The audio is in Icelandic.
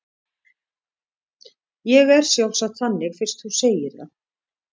Ég er sjálfsagt þannig fyrst þú segir það.